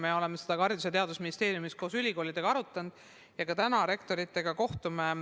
Me oleme seda ka Haridus- ja Teadusministeeriumis koos ülikoolidega arutanud, tänagi kohtume rektoritega.